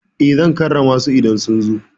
Eh, zan karrama su idan sun zo.